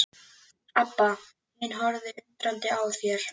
Abba hin horfði undrandi á þær.